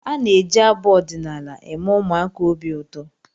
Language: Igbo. Ana-eji abụ ọdịnaala. eme ụmụaka obi ụtọ